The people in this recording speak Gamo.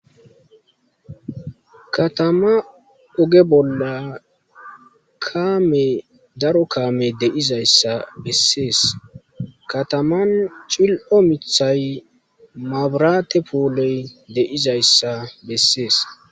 katama oge bolla kame daro kame de izays sa bessees kataman cil omithay mabrate pooloy de izays sa bessees